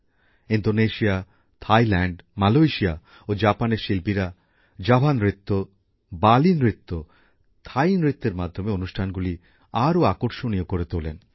Indonesia Thailand Malaysia ও জাপানের শিল্পীরা জাভা নৃত্য বালী নৃত্য থাই নৃত্যের মাধ্যমে অনুষ্ঠানগুলি আরও আকর্ষণীয় করে তোলেন